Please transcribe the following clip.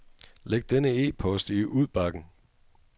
Læg denne e-post i udbakken.